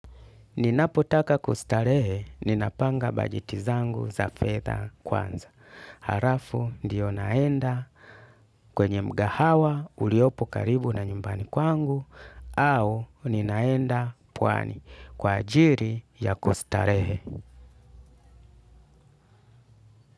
Ninapo taka kustarehe, ninapanga bajeti zangu za fedha kwanza. Halafu ndio naenda kwenye mgahawa uliopo karibu na nyumbani kwangu au ninaenda pwani kwa ajili ya kustarehe.